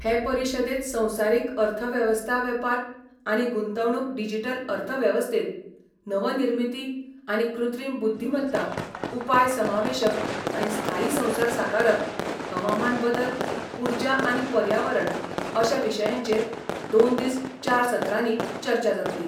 हे परिशदेंत संवसारीक अर्थवेवस्था वेपार आनी गुंतवणूक डिजीटल अर्थवेवस्थेत नवनिर्मिती आनी कृत्रीम बुद्दीमत्ता उपाय समावेशक आनी स्थायी संसार साकारप हवामान बदल उर्जा आनी पर्यावरण अशा विशयांचेर दोन दीस चार सत्रांनी चर्चा जातली.